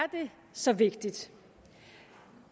så vigtigt